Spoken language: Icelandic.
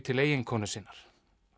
til eiginkonu sinnar